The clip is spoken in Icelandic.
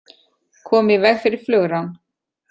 Komu í veg fyrir flugrán